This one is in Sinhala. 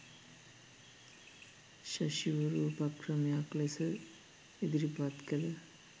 ඍෂිවරු උපක්‍රමයක් ලෙස ඉදිරිපත් කළ